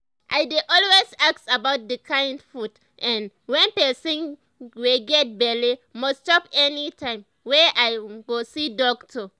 i dey always ask about the kind um food[um]wey person wey get belle must chop anytime wey i um go see doctor